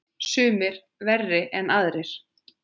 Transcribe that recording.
Sumir verri en aðrir.